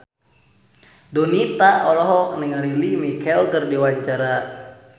Donita olohok ningali Lea Michele keur diwawancara